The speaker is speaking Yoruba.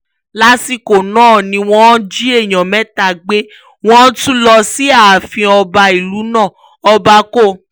lásìkò náà ni wọ́n jí èèyàn mẹ́ta gbé wọ́n tún lọ sí ààfin ọba ìlú náà ọba co